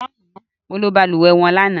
Mo ló balùwẹ́ wọn lana